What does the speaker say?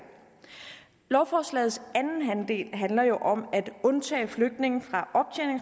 lovforslagets anden halvdel handler jo om at undtage flygtninge fra